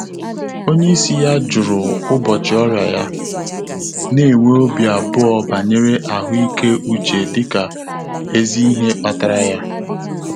Ọ́nyé ísí yá jụ́rụ̀ ụ́bọ̀chị̀ ọ́rị́à yá, nà-ènwé óbí àbụ́ọ̀ bànyèrè àhụ́ị́ké úchè dị́kà èzí ìhè kpàtàrà yá.